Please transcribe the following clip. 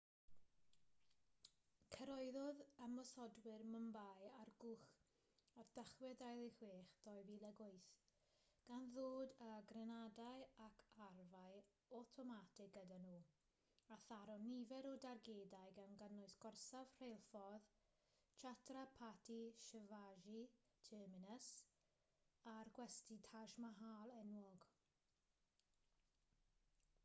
cyrhaeddodd ymosodwyr mumbai ar gwch ar dachwedd 26 2008 gan ddod â grenadau ac arfau awtomatig gyda nhw a tharo nifer o dargedau gan gynnwys gorsaf rheilffordd chhatrapati shivaji terminus a'r gwesty taj mahal enwog